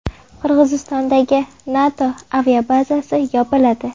Qirg‘izistondagi NATO aviabazasi yopiladi.